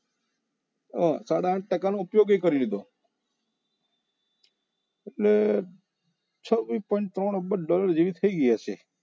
હા સાડા આઠ ટકાનો ઉપયોગ એ કરી લીધો એટલે છવ્વીસ point ત્રણ અબજ dollar જેટલી થઈ ગઈ હશે